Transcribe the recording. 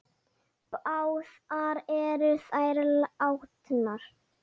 Báðar eru þær látnar.